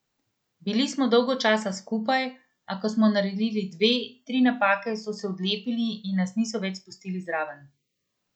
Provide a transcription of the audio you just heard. Bili smo dolgo časa skupaj, a ko smo naredili dve, tri napake, so se odlepili in nas niso več spustili zraven.